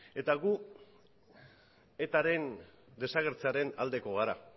eta gu etaren desagertzearen aldeko gara